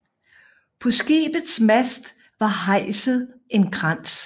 På skibets mast var hejset en krans